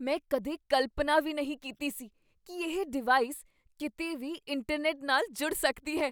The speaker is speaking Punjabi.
ਮੈਂ ਕਦੇ ਕਲਪਨਾ ਵੀ ਨਹੀਂ ਕੀਤੀ ਸੀ ਕੀ ਇਹ ਡਿਵਾਈਸ ਕਿਤੇ ਵੀ ਇੰਟਰਨੈਟ ਨਾਲ ਜੁੜ ਸਕਦੀ ਹੈ।